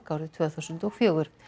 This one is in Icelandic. árið tvö þúsund og fjögur